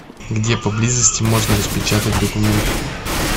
где поблизости можно распечатать документы